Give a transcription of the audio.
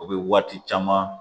O bɛ waati caman